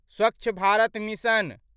Swachh Bharat mission